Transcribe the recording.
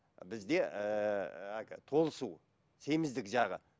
бізде ііі толысу семіздік жағы